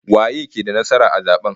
Waye ke da nasara a zaben?